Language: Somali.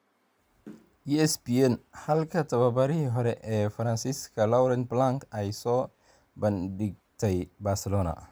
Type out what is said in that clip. (ESPN) Halka tababarihii hore ee Faransiiska Laurent Blanc ay soo bandhigtay Barcelona.